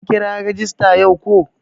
An kira rajista yau ko?